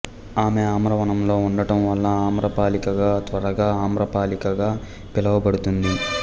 ఆమె ఆమ్రవనంలో ఉండటం వల్ల ఆమ్రపాలికగా తర్వాత ఆమ్రపాలిగా పిలువబడుతుంది